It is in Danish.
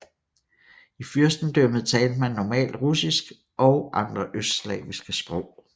I fyrstendømmet talte man normalt rusinsk og andre østslaviske sprog